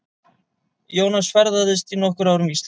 Jónas ferðaðist í nokkur ár um Ísland.